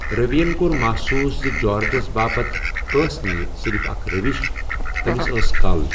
رٔوی یَن کوٚر محسوٗس زِ جارجَس باپتھ اوس نہٕ یہِ صرف اكھ روش ،تمِس ٲس كل ۔